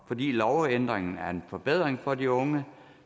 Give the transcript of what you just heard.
fordi lovændringen er en forbedring for de unge